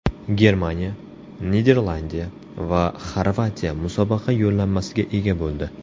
Germaniya, Niderlandiya va Xorvatiya musobaqa yo‘llanmasiga ega bo‘ldi.